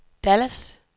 Dallas